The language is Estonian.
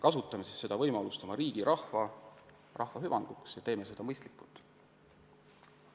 Kasutame seda võimalust oma riigi ja rahva hüvanguks ning teeme seda mõistlikult.